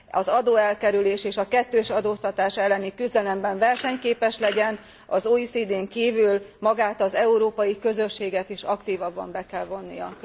az adóelkerülés és a kettős adóztatás elleni küzdelemben versenyképes legyen az OECD n kívül magát az európai közösséget is aktívabban be kell vonnia.